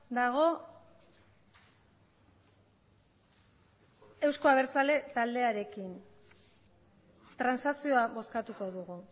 dago euzko abertzale taldearekin transakzioa bozkatuko dugu